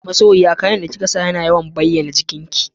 Masoyi na, kayan da kika sanya ya yawan bayyana jikinki